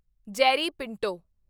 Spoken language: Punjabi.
ਜੈਰੀ ਪਿੰਟੋ